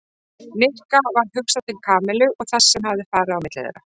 Nikka varð hugsað til Kamillu og þess sem hafði farið á milli þeirra.